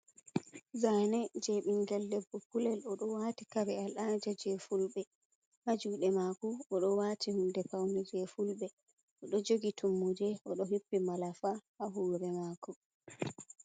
Zane je bingel debbo kulel. o ɗo wati kare al'ada je fulbe. Ha juɗe mako odo wati hunde paune je fulbe, o ɗo jogi tummude, odo hippi malafa ha hore mako.